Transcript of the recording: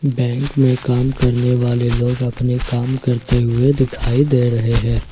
Bank में काम करने वाले लोग अपने काम करते हुए दिखाई दे रहे हैं।